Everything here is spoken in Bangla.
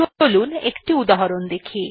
চলুন একটি উদাহরন দেখি